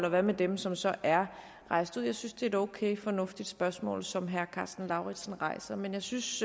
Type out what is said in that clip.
og hvad med dem som så er rejst ud jeg synes det er et okay og fornuftigt spørgsmål som herre karsten lauritzen rejser men jeg synes